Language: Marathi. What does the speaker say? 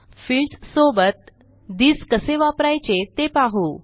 फील्ड्स सोबत थिस कसे वापरायचे ते पाहू